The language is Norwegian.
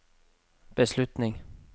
beslutning